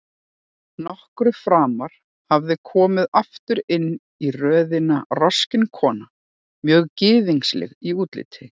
Nokkru framar hafði komið aftur inn í röðina roskin kona, mjög gyðingleg í útliti.